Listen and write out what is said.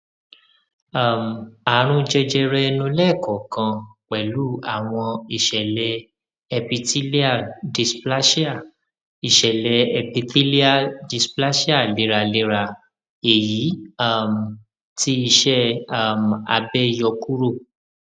um àrùn jẹjẹrẹ ẹnu lẹẹkọọkan pẹlú àwọn ìṣẹlẹ epithelial dysplasia ìṣẹlẹ epithelial dysplasia léraléra èyí um tí iṣẹ um abẹ yọ kúrò